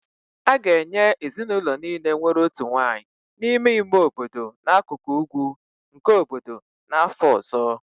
A ga-enye ezinụlọ niile nwere otu nwanyị n'ime ime obodo n'akụkụ ugwu nke obodo n'afọ ọzọ